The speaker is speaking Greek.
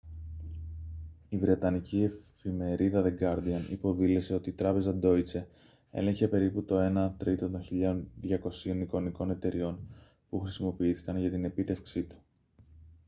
η βρετανική εφημερίδα the guardian υποδήλωσε ότι η τράπεζα deutsche έλεγχε περίπου το ένα τρίτο των 1.200 εικονικών εταιρειών που χρησιμοποιήθηκαν για την επίτευξή του